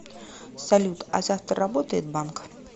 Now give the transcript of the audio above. салют а завтра работает банк